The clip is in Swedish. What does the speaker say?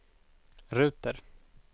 ruter